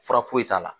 Fura foyi t'a la